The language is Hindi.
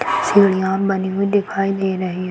सीढियाँ बनी हुई दिखाई दे रही हैं।